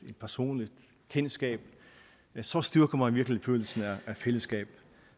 personligt kendskab så styrker man virkelig følelsen af fællesskab